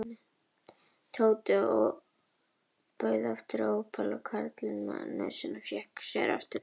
Tóti bauð aftur ópal og karlinn með nösina fékk sér aftur tvö.